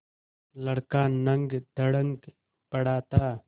लड़का नंगधड़ंग पड़ा था